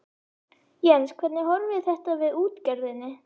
Jens hvernig horfir þetta við útgerðinni?